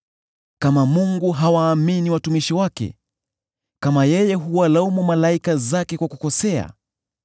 Kama Mungu hawaamini watumishi wake, kama yeye huwalaumu malaika zake kwa kukosea,